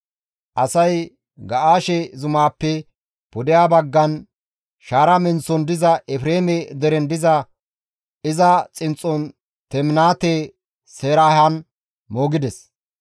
Asay Ga7aashe zumaappe pudeha baggan, shaara menththon diza Efreeme deren diza iza xinxxon Teminaate-Seraahan moogides.